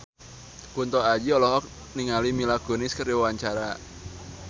Kunto Aji olohok ningali Mila Kunis keur diwawancara